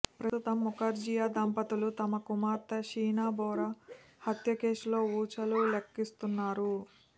ప్రస్తుతం ముఖర్జియా దంపతులు తమ కుమార్తె షీనా బోరా హత్యకేసులో ఊచలు లెక్కిస్తున్నారు